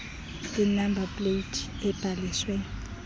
inamba pleyiti ebhaliswe